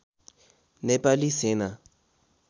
नेपाली सेना